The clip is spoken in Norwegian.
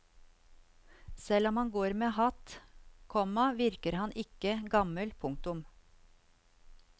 Selv om han går med hatt, komma virker han ikke gammel. punktum